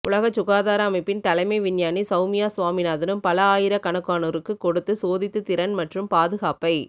உலகச் சுகாதார அமைப்பின் தலைமை விஞ்ஞானி சவுமியா சுவாமிநாதனும் பல ஆயிரக்கணக்கானோருக்கு கொடுத்து சோதித்து திறன் மற்றும் பாதுகாப்பை